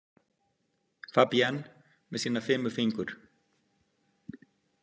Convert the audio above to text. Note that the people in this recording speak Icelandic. Fabienne með sína fimu fingur.